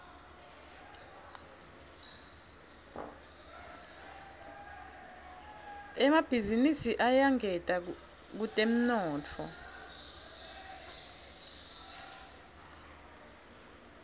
emabhizinisi ayangeta kutemnotfo